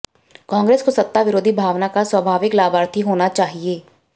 कांग्रेस को सत्ता विरोधी भावना का स्वाभािवक लाभार्थी होना चािहए